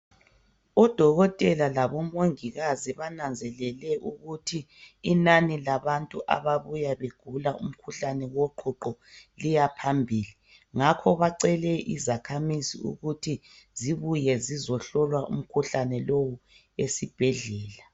Odokotela labomongikazi bananzelele ukuthi inani labantu ababuya begula umkhuhlane woqhuqho liyaphambili. Ngakho bacele izakhamizi ukuthi zibuye zizohlolwa umkhuhlane lowu esibhedlela.